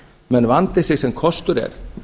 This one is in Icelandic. menn vandi sig sem kostur er